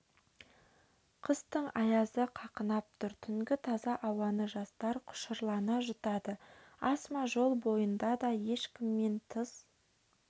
қыстың аязы қақынап тұр түнгі таза ауаны жастар құшырлана жұтады асма жол бойында да ешкіммен тыс